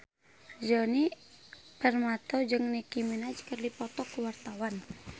Djoni Permato jeung Nicky Minaj keur dipoto ku wartawan